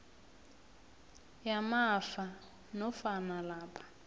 yamafa nofana lapha